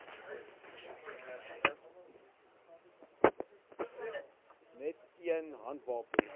net een handwapen